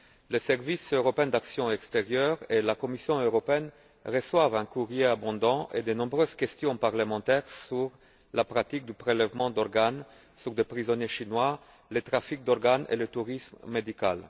Le Service européen pour l'action extérieure et la Commission européenne reçoivent un courrier abondant et de nombreuses questions parlementaires sur la pratique du prélèvement d'organes sur des prisonniers chinois, le trafic d'organes et le tourisme médical.